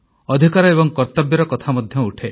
ଅଧିକାର ଏବଂ କର୍ତ୍ତବ୍ୟର କଥା ମଧ୍ୟ ଉଠେ